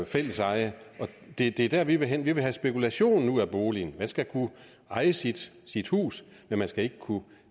fælleseje det er der vi vil hen vi vil have spekulationen ud af boligen man skal kunne eje sit sit hus men man skal ikke kunne